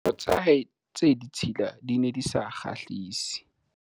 diaparo tsa hae tse ditshila di ne di sa kgahlise